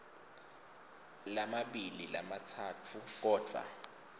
lamabili lamatsatfu kodvwa